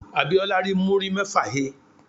Abíọ́lá rí múrí mẹ́fà he.